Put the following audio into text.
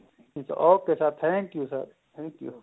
ok sir thank you sir thank you